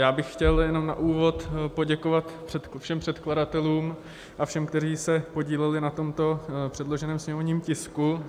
Já bych chtěl jenom na úvod poděkovat všem předkladatelům a všem, kteří se podíleli na tomto předloženém sněmovním tisku.